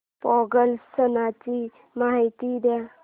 पोंगल सणाची माहिती दे